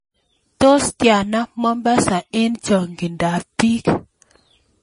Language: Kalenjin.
Tos' tiana Mombasa eng' chang'indoap biik